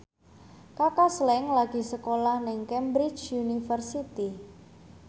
Kaka Slank lagi sekolah nang Cambridge University